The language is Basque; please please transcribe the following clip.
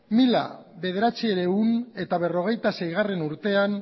mila bederatziehun eta berrogeita seigarrena urtean